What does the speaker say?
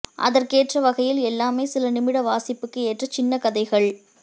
அதற்கேற்ற வகையில் எல்லாமே சில நிமிட வாசிப்புக்கு ஏற்ற சின்ன கதைகள்